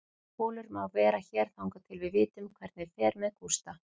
Kolur má vera hér þangað til við vitum hvernig fer með Gústa.